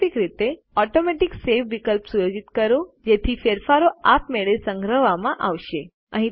વૈકલ્પિક રીતે automatic save વિકલ્પ સુયોજિત કરો જેથી ફેરફારો આપમેળે સંગ્રહવામાં આવશે